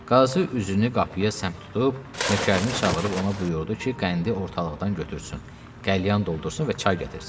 Qazı üzünü qapıya səmt tutub, nökərini çağırıb ona buyurdu ki, qəndi ortalıqdan götürsün, qəlyan doldursun və çay gətirsin.